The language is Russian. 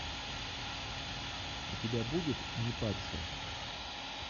у тебя будет не парься